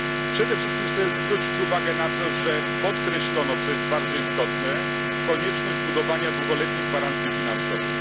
Przede wszystkim chcę zwrócić uwagę na to, że podkreślono co jest bardzo istotne konieczność budowania długoletnich gwarancji finansowych.